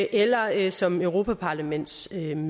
eller eller som europaparlamentsmedlem